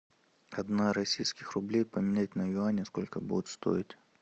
одна российских рублей поменять на юани сколько будет стоить